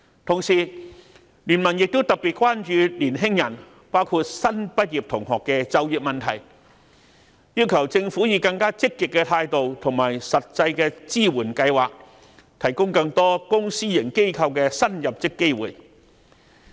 同時，經民聯亦特別關注年輕人，包括新畢業同學的就業問題，要求政府以更積極的態度和實際的支援計劃，提供更多公私營機構的新入職機會。